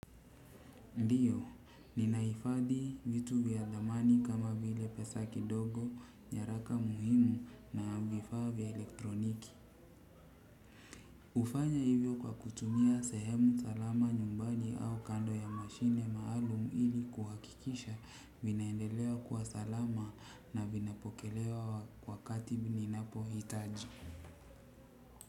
Ndiyo, ninahifadhi vitu vya thamani kama vile pesa kidogo, nyaraka muhimu na vifaa vya elektroniki. Hufanya hivyo kwa kutumia sehemu salama nyumbani au kando ya mashine maalum ili kuhakikisha vinaendelea kuwa salama na vinapokelewa wakati ninapohitaji.